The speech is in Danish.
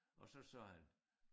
Og så sagde han